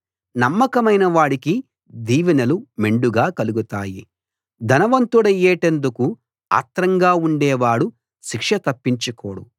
నమ్మకమైనవాడికి దీవెనలు మెండుగా కలుగుతాయి ధనవంతుడయ్యేటందుకు ఆత్రంగా ఉండే వాడు శిక్ష తప్పించుకోడు